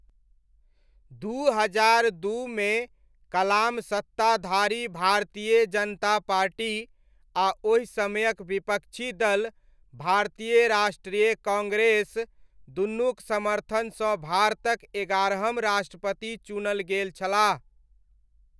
दू हजार दूमे कलाम सत्ताधारी भारतीय जनता पार्टी आ ओहि समयक विपक्षी दाल भारतीय राष्ट्रीय काँग्रेस दुनुक समर्थनसँ भारतक एगारहम राष्ट्रपति चुनल गेल छलाह।